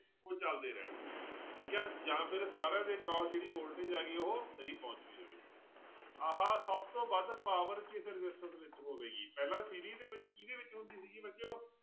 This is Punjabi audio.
ਉਹ ਚੱਲਦੇ ਰਹਿਣ, ਠੀਕ ਹੈ ਜਾਂ ਫਿਰ ਸਾਰਿਆਂ ਦੇ ਜਿਹੜੀ voltage ਹੈਗੀ ਉਹ ਨਹੀਂ ਪਹੁੰਚਦੀ ਹੋਵੇ, ਆਹ ਸਭ ਤੋਂ ਵੱਧ power ਕਿਸ resistance ਵਿੱਚ ਹੋਵੇਗੀ ਪਹਿਲਾਂ ਦੇ ਵਿੱਚ ਕਿਹਦੇ ਵਿੱਚ ਹੁੰਦੀ ਸੀਗੀ ਬੱਚਿਓ